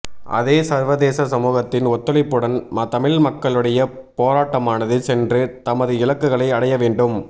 அதே சர்வதேச சமூகத்தின் ஒத்துழைப்புடன் தமிழ் மக்களுடைய போராட்டமானது சென்று தமது இலக்குகளை அடையவேண்டும்